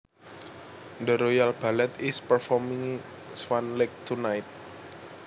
The Royal Ballet is performing Swan Lake tonight